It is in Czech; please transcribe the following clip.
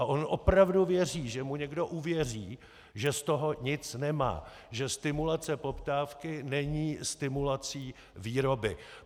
A on opravdu věří, že mu někdo uvěří, že z toho nic nemá, že stimulace poptávky není stimulací výroby.